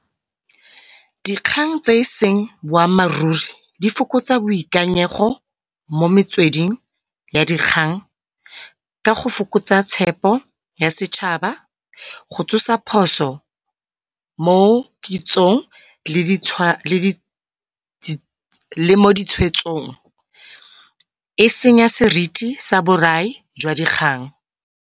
Dikgang tse eseng boammaaruri di fokotsa boikanyego mo metsweding ya dikgang ka go fokotsa tshepo ya setšhaba. Go tsosa phoso mo kitsong le mo ditshwetsong. E senya seriti sa borae jwa dikgang.